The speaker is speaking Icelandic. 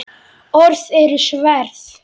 Orð eru sverð.